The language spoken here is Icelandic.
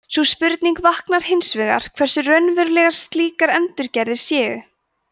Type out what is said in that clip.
sú spurning vaknar hins vegar hversu raunverulegar slíkar endurgerðir séu